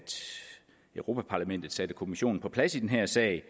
europa parlamentet satte kommissionen på plads i den her sag